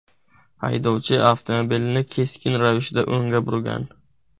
Haydovchi avtomobilni keskin ravishda o‘ngga burgan.